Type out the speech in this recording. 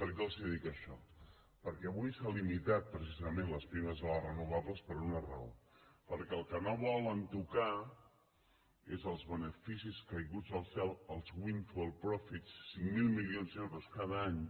per què els dic això perquè avui s’ha limitat precisament les primes a les renovables per una raó perquè el que no volen tocar és els beneficis caiguts del cel els windfall profits cinc mil milions d’euros cada any